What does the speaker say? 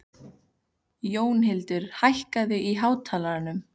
Jónhildur, hækkaðu í hátalaranum.